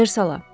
Versala.